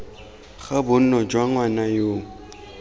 ga bonno jwa ngwana yoo